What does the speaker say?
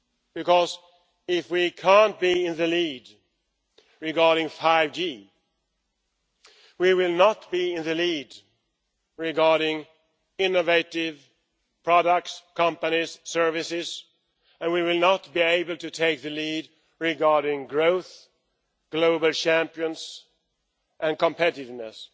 because if we cannot be in the lead regarding 5G we will not be in the lead regarding innovative products, companies, services, and we will not be able to take the lead regarding growth, global champions and competitiveness.